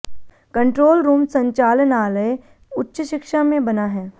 control room संचालनालय उच्च शिक्षा में बना है